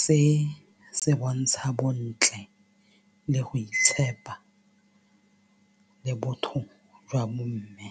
se se bontsha bontle le go itshepa le botho jwa bomme.